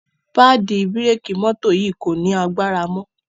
paadi bírékì mọ́tò yì kò ní agbára mọ.